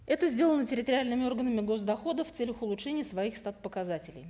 это сделано территориальными органами гос доходов в целях улучшения своих стат показателей